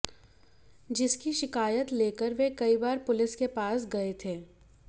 जिसकी शिकायत लेकर वे कई बार पुलिस के पास गए थे